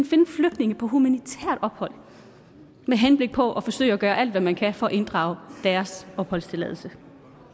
finde flygtninge på humanitært ophold med henblik på at forsøge at gøre alt hvad man kan for at inddrage deres opholdstilladelse